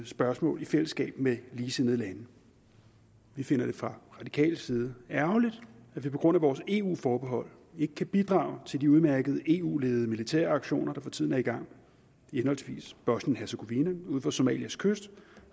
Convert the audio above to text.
spørgsmål i fællesskab med ligesindede lande vi finder det fra radikales side ærgerligt at vi på grund af vores eu forbehold ikke kan bidrage til de udmærkede eu ledede militære aktioner der for tiden er i gang i henholdsvis bosnien hercegovina ud for somalias kyst